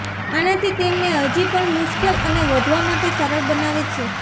આનાથી તેમને હજી પણ મુશ્કેલ અને વધવા માટે સરળ બનાવે છે